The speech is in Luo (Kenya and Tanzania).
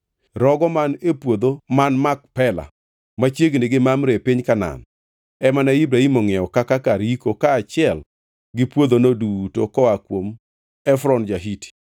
Rogo man e puodho man Makpela, machiegni gi Mamre e piny Kanaan, ema ne Ibrahim ongʼiewo kaka kar yiko kaachiel gi puodhono duto koa kuom Efron ja-Hiti.